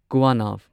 ꯀꯨꯋꯥꯅꯚ